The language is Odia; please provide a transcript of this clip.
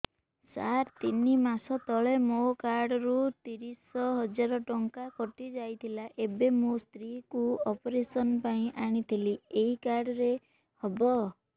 ସାର ତିନି ମାସ ତଳେ ମୋ କାର୍ଡ ରୁ ତିରିଶ ହଜାର ଟଙ୍କା କଟିଯାଇଥିଲା ଏବେ ମୋ ସ୍ତ୍ରୀ କୁ ଅପେରସନ ପାଇଁ ଆଣିଥିଲି ଏଇ କାର୍ଡ ରେ ହବ